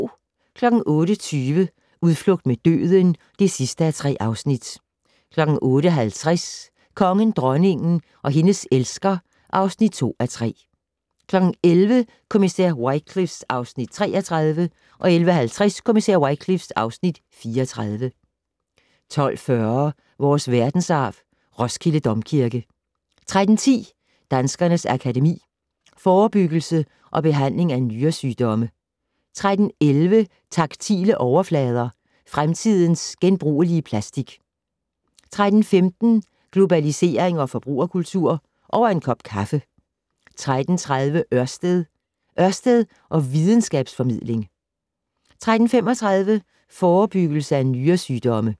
08:20: Udflugt mod døden (3:3) 08:50: Kongen, dronningen og hendes elsker (2:3) 11:00: Kommissær Wycliffe (Afs. 33) 11:50: Kommissær Wycliffe (Afs. 34) 12:40: Vores verdensarv: Roskilde Domkirke 13:10: Danskernes Akademi: Forebyggelse og behandling af nyresygdomme 13:11: Taktile overflader - fremtidens genbrugelige plastik 13:15: Globalisering og forbrugerkultur - over en kop kaffe 13:30: Ørsted - Ørsted og videnskabs-formidling 13:35: Forebyggelse af nyresygdomme